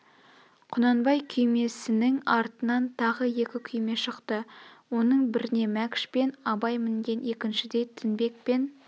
құнанбай күймеснің артынан тағы екі күйме шықты оның бірне мәкш пен абай мінген екіншіде тінбек пен